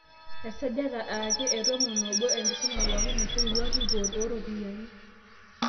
Esajati ake etomonobo, enkisuma pookin naishorutua ripoot ooropiyani.